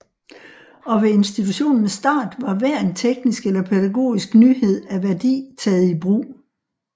Og ved institutionens start var hver en teknisk eller pædagogisk nyhed af værdi taget i brug